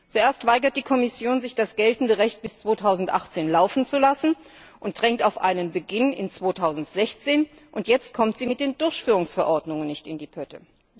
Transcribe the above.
Zuerst weigert die Kommission sich, das geltende Recht bis 2018 laufen zu lassen und drängt auf einen Beginn im Jahr 2016, und jetzt kommt sie mit den Durchführungsverordnungen nicht in die Pötte.